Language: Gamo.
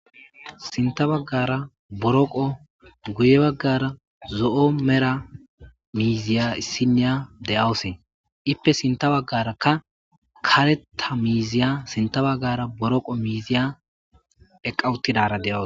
sinta baggara boroqo guye baggara zo7o mera miiziya issiniya de7awusee ippe sinta baggaraka kareta miiziya sinta baggara boroqo miiziya eqqawuttidara deawos